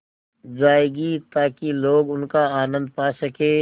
जाएगी ताकि लोग उनका आनन्द पा सकें